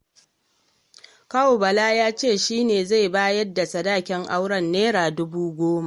Kawun Bala ya ce shi ne zai bayar da sadakin auren Naira dubu goma.